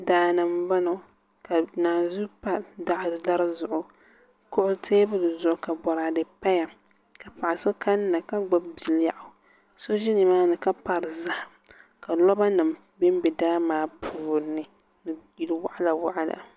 Daani n boŋo ka naanzuu pa dari zuɣu teebuli zuɣu ka boraadɛ paya ka paɣa so kanna ka gbubi bilɛɣu so ʒɛ nimaani ka pari zaham ka loba nim bɛ daa maa puuni ni yili waɣala waɣala